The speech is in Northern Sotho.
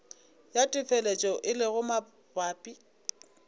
ya telefatšo e lego mabapi